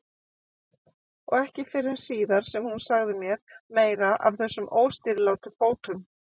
Og ekki fyrr en síðar sem hún sagði mér meira af þessum óstýrilátu fótum.